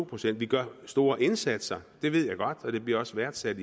procent vi gør store indsatser det ved jeg godt og det bliver også værdsat